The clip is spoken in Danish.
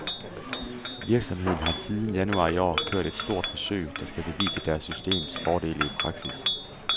Virksomheden har siden januar i år kørt et stort forsøg, der skal bevise deres systems fordele i praksis.